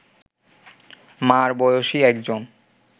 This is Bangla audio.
মা’র বয়সী একজন